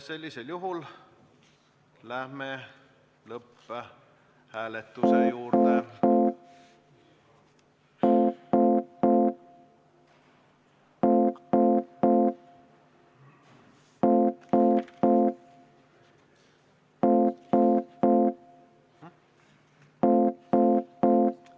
Sellisel juhul läheme lõpphääletuse juurde.